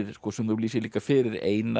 sem þú lýsir líka fyrir Einar